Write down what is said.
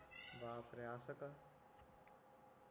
बाप रे असं का